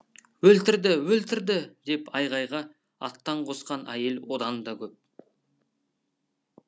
өлтірді өлтірді деп айғайға аттан қосқан әйел одан да көп